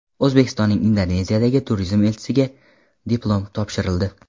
O‘zbekistonning Indoneziyadagi turizm elchisiga diplom topshirildi.